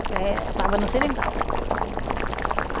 É, estava no seringal.